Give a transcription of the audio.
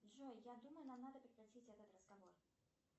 джой я думаю нам надо прекратить этот разговор